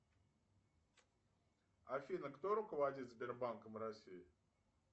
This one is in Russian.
афина кто руководит сбербанком россии